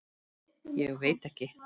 Ég veit ekki